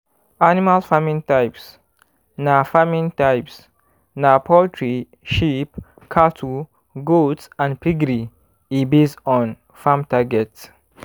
animal farming types na farming types na poultry sheep cattle goats and piggery e base on farm target